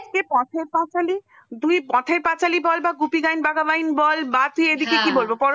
পথের পাঁচালী তুই পথের পাঁচালী বল বা গুপি গাইন বাঘা বাইন বল বা তুই এইদিকে